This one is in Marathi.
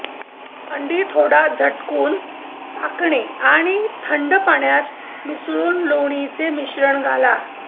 अंडी थोडा झटकून टाकणे आणि थंड पाण्यात मिसळून लोणीचे मिश्रण घाला